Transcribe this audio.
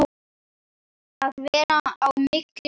Að vera á milli manna!